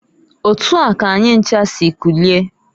Otua k'anyi ncha si kulie.